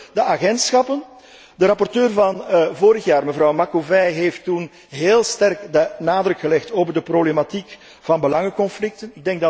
Ten slotte de agentschappen. De rapporteur van vorig jaar, mevrouw Macovei, heeft toen heel sterk de nadruk gelegd op de problematiek van belangenconflicten.